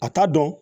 A t'a dɔn